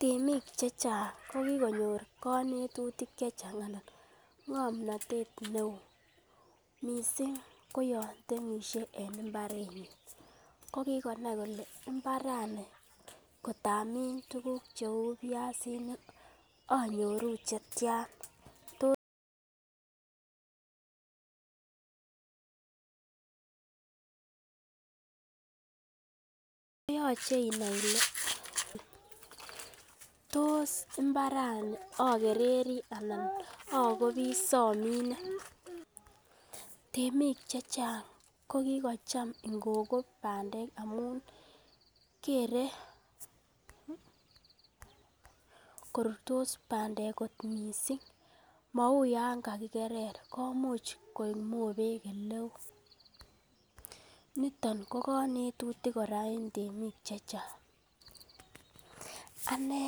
Temik che chang ko kigonyor konetutik che chang anan kogikonyor ng'omnatet eo mising ko yon temeisie en mbarenyin, ko kigonai kole mbarani kotamin tuguk cheu biasinik anyoru che tyan tot yoche inai ile tos mbarani ogereri anan ogopi somine, temik che chang ko kigocham ingokop bandek amun kere korurtosbandek kot mising mou yon kagikerer komuch koik mobek ele oo. Niton ko konetutik kora en temik che chang , ane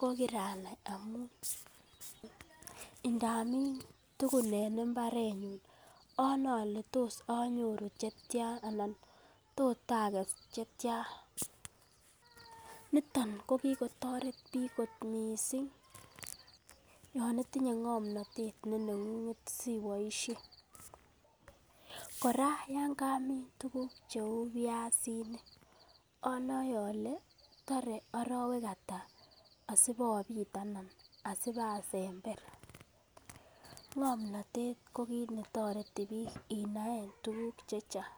ko kiranai amun tuguk en mbarenyun anoi ole tos anyoru che tyan anan tot ages che tyan. Niton ko kigotoret biik kot mising yon itinye ng'omnatet ne neng'ung'et siboishen kora yon kamin tuguk cheu biasinik anoe ole tore arowek ata asibobit ana asibasember ng'omnatet ko kiit ne toreti biiik inaen tuguk che chang.